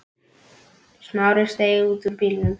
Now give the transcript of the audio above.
Smári steig út úr bílnum.